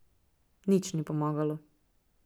Nič ni pomagalo.